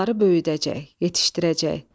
Onları böyüdəcək, yetişdirəcək.